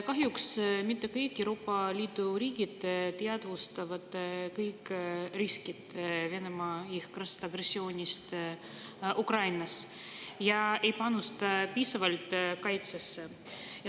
Kahjuks mitte kõik Euroopa Liidu riigid ei teadvusta kõiki riske, mis tulenevad Venemaa jõhkrast agressioonist Ukrainas, ega panusta piisavalt kaitsesse.